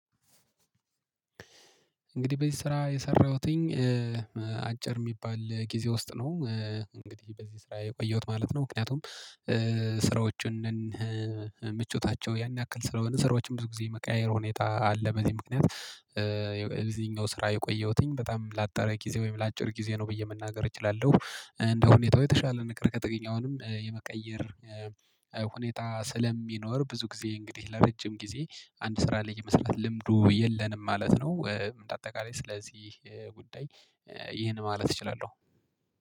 እንግዲህ በዚህ ስራ የሰራሁትኝ አጭር የሚባል ጊዜ ውስጥ ነው። እንግዲህ በዚህ ስራ የቆየሁት ማለት ነው። ምክንያቱም ስራዎችን ምቾታቸው ያን ያክል ስለሆነ ስራዎችን ብዙ ጊዜ መቀያየር ሁኔታ አለ በዚህ ምክንያት። የዚህኛው ስራ የቆየሁትኝ በጣም ላጠረ ጊዜ ወይም ለአጭር ጊዜ ነው ብዬ መናገር እችላለሁ እንደ ሁኔታው የተሻለ ነገር ከተገኘ የመቀየር ሁኔታ ስለሚኖር ብዙ ጊዜ እንግዲህ ለረጅም ጊዜ አንድ ስራ ለመስራት ልምዱ የለንም ማለት ነው። እንደ አጠቃላይ ስለዚህ ጉዳይ ይህን ማለት እችላለሁ